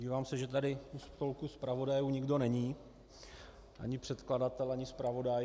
Dívám se, že tady u stolku zpravodajů nikdo není, ani předkladatel ani zpravodaj...